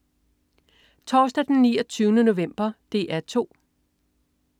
Torsdag den 29. november - DR 2: